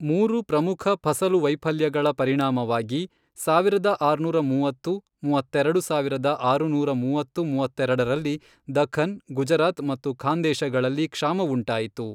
ಮೂರು ಪ್ರಮುಖ ಫಸಲು ವೈಫಲ್ಯಗಳ ಪರಿಣಾಮವಾಗಿ ಸಾವಿರದ ಆರುನೂರಾ ಮೂವತ್ತು-ಮೂವತ್ತೆರಡು ಸಾವಿರದ ಆರುನೂರ ಮೂವತ್ತು ಮೂವತ್ತೆರೆಡರಲ್ಲಿ, ದಖ್ಖನ್, ಗುಜರಾತ್ ಮತ್ತು ಖಾಂದೇಶಗಳಲ್ಲಿ ಕ್ಷಾಮವುಂಟಾಯಿತು.